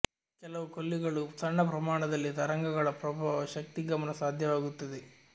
ಕೆಲವು ಕೊಲ್ಲಿಗಳು ಸಣ್ಣ ಪ್ರಮಾಣದಲ್ಲಿ ತರಂಗಗಳ ಪ್ರಭಾವ ಶಕ್ತಿ ಗಮನ ಸಾಧ್ಯವಾಗುತ್ತದೆ